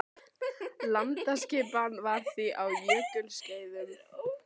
Landaskipan var því á jökulskeiðum önnur en nú er.